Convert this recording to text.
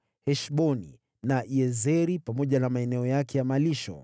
Heshboni na Yazeri, pamoja na maeneo yake ya malisho.